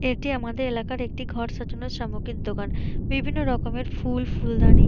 এটি আমাদের এলাকার একটি ঘর সাজানো সামগ্রীর দোকান বিভিন্ন রকমের ফুল ফুলদানি।